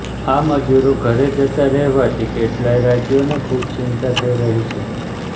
આ મજૂરો ઘરે જતા રહેવાથી કેટલાંય રાજ્યોને ખૂબ ચિંતા થઇ રહી છે